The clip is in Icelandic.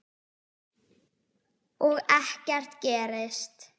Og ekkert gerist.